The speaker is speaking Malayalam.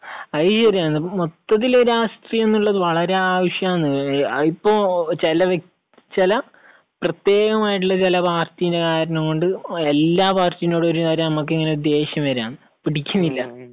അത് ശരിയാണ്. ഇപ്പം മൊത്തത്തിൽ ഒരു രാഷ്ട്രീയം എന്നുള്ളത് വളരെ ആവശ്യമാണ്. ഇപ്പോൾ ചില വ്യക്തി, ചില പ്രത്യേകം ആയിട്ടുള്ള ചില പാർട്ടി കാരണം കൊണ്ട് എല്ലാ പാർട്ടികളോടും നമുക്ക് ഇങ്ങനെയൊരു ദേഷ്യം വരികയാണ്. പിടിക്കുന്നില്ല.